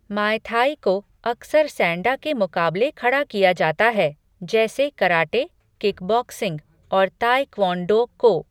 मॉय Thai को अक्सर Sanda के मुकाबले खड़ा किया जाता है, जैसे कराटे, किकबॉक्सिंग और ताए क्वोन डो को।